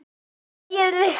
Jæja, sagði María.